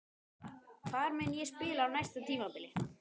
Hvar mun ég spila á næsta tímabili?